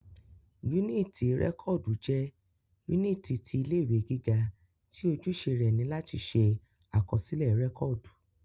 Yúnìtì rẹ́kọ̀dù jẹ́ yúnìtì ti ilé ìwé gíga tí ojúṣe rẹ ni láti ṣe àkọsílẹ̀ rẹ́kọ̀dù